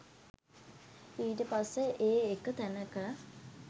ඊට පස්සෙ ඒ එක තැනක